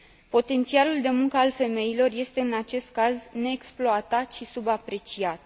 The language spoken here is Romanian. Potențialul de muncă al femeilor este, în acest caz, neexploatat și subapreciat.